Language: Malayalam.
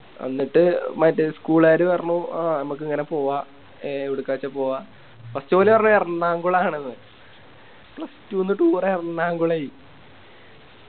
എന്നിട്ട് മറ്റേ School കാര് പറഞ്ഞു ആ മ്മക്ക് ഇങ്ങനെ പോവാ എ എവുടുക്കച്ച പൂവ First ഓല് പറഞ്ഞ് എർണാകുളണെന്ന് plus two ന്ന് Toure എർണകുളെ